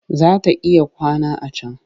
Za ta iya kwana a can